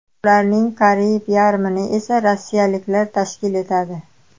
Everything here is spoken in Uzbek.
Ularning qariyb yarmini esa rossiyaliklar tashkil etadi.